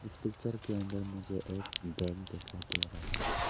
इस पिक्चर के अंदर मुझे एक बैंक दिखाई दे रहा है।